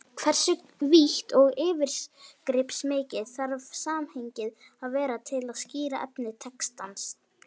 Hversu vítt og yfirgripsmikið þarf samhengið að vera til að skýra efni textans?